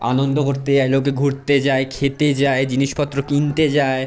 আনন্দ করতে যায় লোকে ঘুরতে যায় খেতে যায় জিনিসপত্র কিনতে যায়।